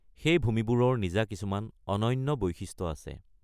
সেই ভূমিবোৰৰ নিজা কিছুমান অনন্য বৈশিষ্ট্য আছে।